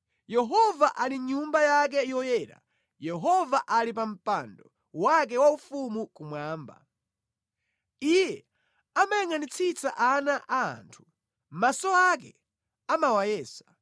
Yehova ali mʼNyumba yake yoyera; Yehova ali pa mpando wake waufumu kumwamba. Iye amayangʼanitsitsa ana a anthu; maso ake amawayesa.